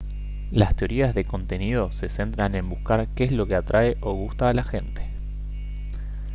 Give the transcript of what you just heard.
las teorías de contenido se centran en buscar qué es lo que atrae o gusta a la gente